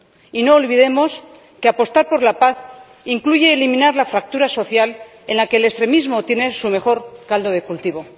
Y no olvidemos que apostar por la paz incluye eliminar la fractura social en la que el extremismo tiene su mejor caldo de cultivo.